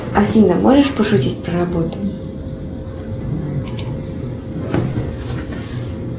афина можешь пошутить про работу